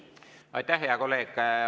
Aitäh, hea kolleeg!